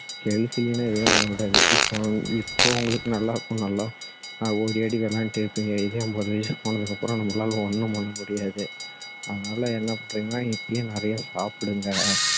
health இல்லன்னா எதுவுமே பண்ண முடியாது இப்போ இப்போ உங்களுக்கு நல்லா இருக்கணும்ல நல்லா ஓடியாடி விளையாடிட்டு இருப்பீங்க இதே ஐம்பது வயசு போனதுக்கு அப்பறம் நம்மளால ஒண்ணும் பண்ண முடியாது அதனால என்ன பண்றீங்கன்னா இப்போவே நிறைய சாப்பிடுங்க